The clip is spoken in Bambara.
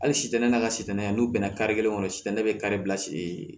Hali sitan ne n'a ka sitanaya n'u bɛna kari kelen kɔnɔ sitan ne bɛ kari bila siri